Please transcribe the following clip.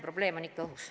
Probleem on ikka õhus.